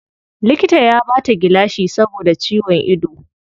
Likita ya bata gilashi saboda ciwon ido.